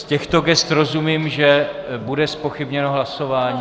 Z těchto gest rozumím, že bude zpochybněno hlasování?